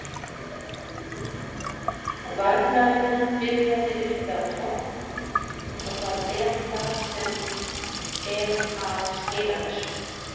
Varnarvinnan byrjar uppi á topp og það er það sem er að skila þessu.